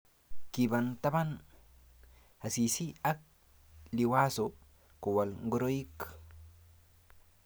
Kiba taban Asisi ak Liwazo Kowal ngoroik